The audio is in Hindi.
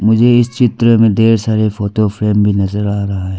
मुझे इस चित्र में ढेर सारे फोतो फ्रेम भी नजर आ रहा है।